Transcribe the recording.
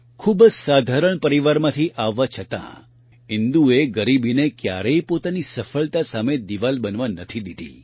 ખૂબ જ સાધારણ પરિવારમાંથી આવવા છતાં ઇન્દુએ ગરીબીને ક્યારેય પોતાની સફળતા સામે દિવાલ બનવા નથી દીધી